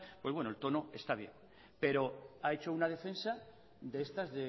pues bueno el tono está bien pero ha hecho una defensa de estas